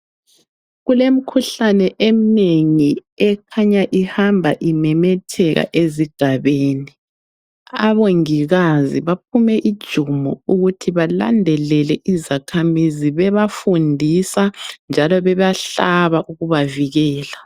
Kulemikhuhlane eminengi ekhanya ihamba imemetheka ezigabeni abongikazi baphume ijumo ukuthi balandelele izakhamizi bebadundisa njalo bebahlaba ukubavikela.